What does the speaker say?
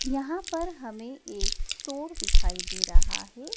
यहां पर हमें एक स्टोर दिखाई दे रहा है।